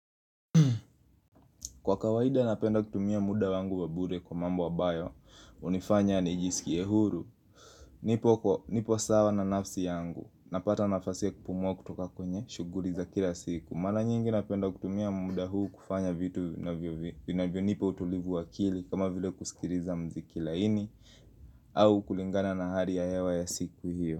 Kwa kawaida napenda kutumia muda wangu wa bure kwa mambo ambayo, hunifanya nijisikie huru Nipoko, nipo sawa na nafsi yangu, napata nafasi ya kupumua kutoka kwenye, shuguli za kila siku Mara nyingi napenda kutumia muda huu kufanya vitu vinavyo nipa utulivu wakili kama vile kusikiliza mziki laini au kulingana na hali ya hewa ya siku hiyo.